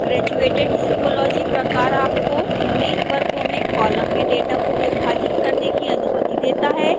graduated symbology प्रकार आपको unique वर्गों में कॉलम में डेटा को विभाजित करने की अनुमति देता है